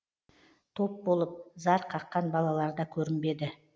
топ болып зар қаққан балаларда көрінбеді